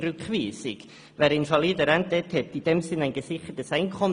Wer eine Invalidenrente erhält, verfügt in diesem Sinn über ein gesichertes Einkommen.